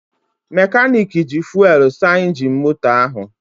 Mekanik ji fuwelụ saa injin moto ahụ.